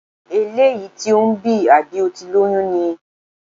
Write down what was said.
Eléyìí tí ò ń bì, àbí o ti lóyún ni?